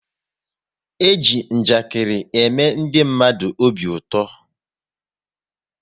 E ji njakiri ème ndị mmadụ obi ụtọ